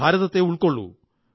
ഭാരതത്തെ ഉള്ക്കൊപള്ളൂ